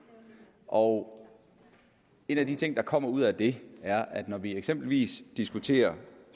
og en af de ting der kommer ud af det er at når vi eksempelvis diskuterer